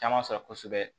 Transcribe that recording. Caman sɔrɔ kosɛbɛ